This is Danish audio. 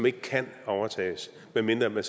ikke kan overtages medmindre man